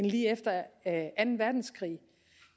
lige efter anden verdenskrig